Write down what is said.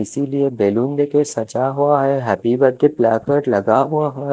इसीलिए बैलून देके सचा हुआ है हैप्पी बर्थडे प्लाकेट लगा हुआ ह--